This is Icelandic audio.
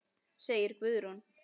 segir Guðrún.